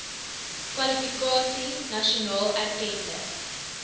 kwalifikasie nasionaal erkende